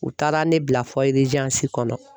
U taara ne bila kɔnɔ.